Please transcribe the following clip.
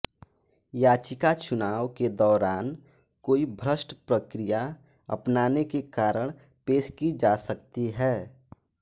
याचिका चुनाव के दौरान कोई भ्रष्ट प्रक्रिया अपनाने के कारण पेश की जा सकती है